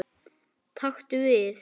Taktu við.